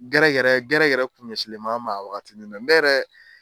Gɛrɛ gɛrɛ gɛrɛ gɛrɛ kun ɲɛ sinlendon an ma a wagatini nɛ ne yɛrɛ